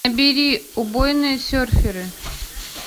набери убойные серферы